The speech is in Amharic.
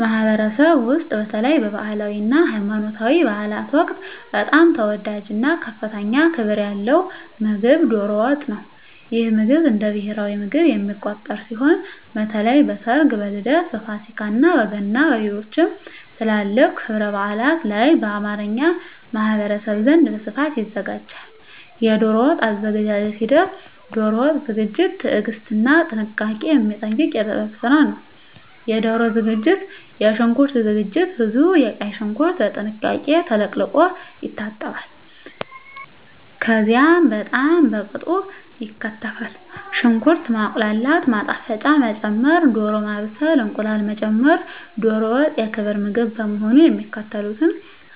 ማኅበረሰብ ውስጥ፣ በተለይም በባህላዊ እና ሃይማኖታዊ በዓላት ወቅት በጣም ተወዳጅ እና ከፍተኛ ክብር ያለው ምግብ ዶሮ ወጥ ነው። ይህ ምግብ እንደ ብሔራዊ ምግብ የሚቆጠር ሲሆን፣ በተለይ በሰርግ፣ በልደት፣ በፋሲካ፣ በገና እና በሌሎችም ትላልቅ ክብረ በዓላት ላይ በአማርኛ ማኅበረሰብ ዘንድ በስፋት ይዘጋጃል። የዶሮ ወጥ አዘገጃጀት ሂደት ዶሮ ወጥ ዝግጅት ትዕግስትና ጥንቃቄ የሚጠይቅ የጥበብ ስራ ነው -የዶሮ ዝግጅት -የሽንኩርት ዝግጅት ብዙ ቀይ ሽንኩርት በጥንቃቄ ተለቅልቆ ይታጠባል፣ ከዚያም በጣም በቅጡ ይከተፋል። -ሽንኩርት ማቁላላት -ማጣፈጫ መጨመር -ዶሮ ማብሰል -እንቁላል መጨመር ዶሮ ወጥ የክብር ምግብ በመሆኑ የሚከተሉትን